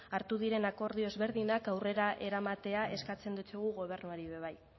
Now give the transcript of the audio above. hartu diren akordio ezberdinak aurrera eramatea eskatzen diogu gobernuari ere bai